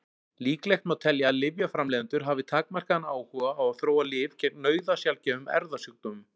Líklegt má telja að lyfjaframleiðendur hafi takmarkaðan áhuga á að þróa lyf gegn nauðasjaldgæfum erfðasjúkdómum.